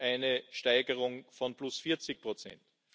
eine Steigerung von plus 40 Prozent.